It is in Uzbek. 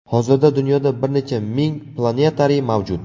Hozirda dunyoda bir necha ming planetariy mavjud.